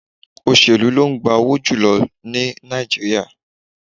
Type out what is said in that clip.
Òṣèlú ló ń gba owó jù lọ ní Nàìjíríà